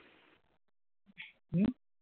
হম